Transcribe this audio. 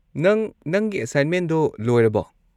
ꯅꯪ ꯅꯪꯒꯤ ꯑꯦꯁꯥꯏꯟꯃꯦꯟꯗꯣ ꯂꯣꯏꯔꯕꯣ?